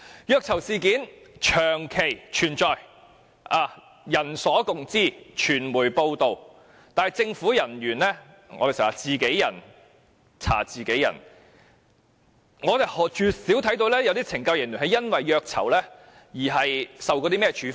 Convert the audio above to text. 虐囚事件長期存在，人所共知，傳媒報道，但政府人員如我們經常說是自己人查自己人，我們絕少看到有懲教署人員因虐囚而受處分。